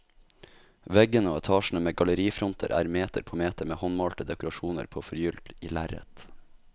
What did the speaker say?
Veggene og etasjene med gallerifronter er meter på meter med håndmalte dekorasjoner på forgylt lerret.